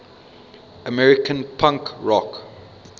american punk rock